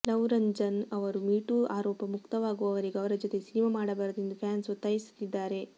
love Ranjan ಅವರು me too ಆರೋಪ ಮುಕ್ತರಾಗುವವರೆಗೂ ಅವರ ಜೊತೆ ಸಿನಿಮಾ ಮಾಡಬಾರದು ಎಂದು ಫ್ಯಾನ್ಸ್ ಒತ್ತಾಯಿಸುತ್ತಿದ್ದಾರೆ